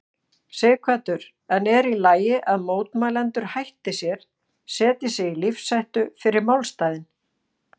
Sighvatur: En er í lagi að mótmælendur hætti sér, setji sig í lífshættu fyrir málstaðinn?